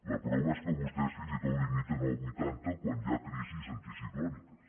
la prova és que vostès fins i tot limiten als vuitanta quan hi ha crisis anticiclòniques